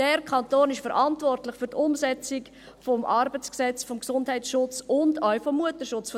Der Kanton ist verantwortlich für die Umsetzung des ArG, des Gesundheitsschutzes und auch des Mutterschutzes.